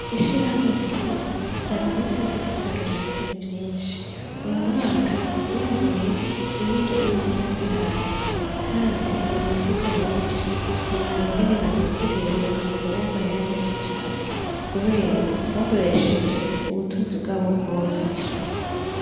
Ishirahamwe mahoro ryama misi yose risarura ibigori vyishi , uyu mwaka bimbuye ibiro ibihumbi mirongo itanu kandi biri mumifuko myishi ntiworaba ingene banezerewe bazokurayo amahera meshi cane kubera bakoresheje ubutunzi bwabo bwose .